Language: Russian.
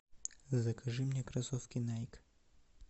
закажи мне кроссовки найк